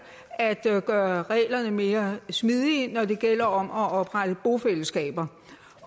at at gøre reglerne mere smidige når det gælder om at oprette bofællesskaber